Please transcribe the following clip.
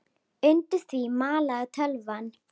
Undir því malaði tölvan.